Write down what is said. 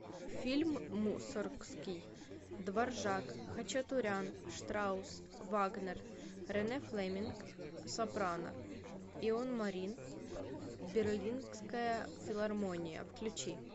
фильм мусоргский дворжак хачатурян штраусс вагнер рене флеминг сопрано ион марин берлинская филармония включи